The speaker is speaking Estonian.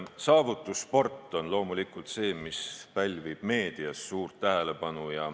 Saavutussport on loomulikult see, mis pälvib meedias suurt tähelepanu.